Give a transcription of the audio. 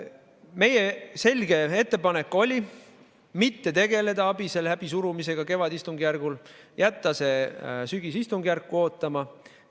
Meie selge ettepanek oli mitte tegeleda ABIS‑e läbisurumisega kevadistungjärgul, jätta see sügisistungjärku ootama.